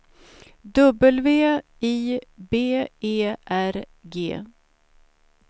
W I B E R G